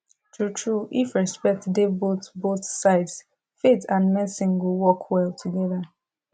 truetrue if respect dey both both sides faith and medicine go work well together